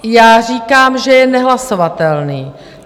Já říkám, že je nehlasovatelný.